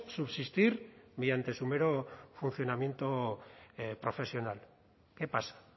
subsistir mediante su mero funcionamiento profesional qué pasa